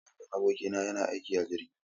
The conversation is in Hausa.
Mahaifin abokina yana aiki a jirgi.